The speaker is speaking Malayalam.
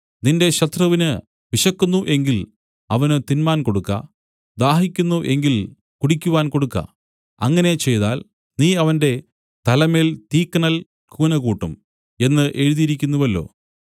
നിന്റെ ശത്രുവിന് വിശക്കുന്നു എങ്കിൽ അവന് തിന്മാൻ കൊടുക്ക ദാഹിക്കുന്നു എങ്കിൽ കുടിക്കുവാൻ കൊടുക്ക അങ്ങനെ ചെയ്താൽ നീ അവന്റെ തലമേൽ തീക്കനൽ കൂനകൂട്ടും എന്നു എഴുതിയിരിക്കുന്നുവല്ലോ